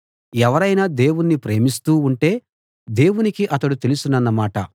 ఎవరైనా దేవుణ్ణి ప్రేమిస్తూ ఉంటే దేవునికి అతడు తెలుసన్నమాట